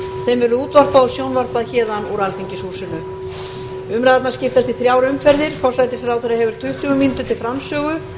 sem verður útvarpað og sjónvarpað úr alþingishúsinu umræðurnar skiptast í þrjár umferðir forsætisráðherra hefur tuttugu mínútur til framsögu